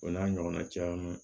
O n'a ɲɔgɔnna caman